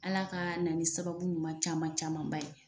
Ala ka na ni sababu ɲuman caman camanba ye.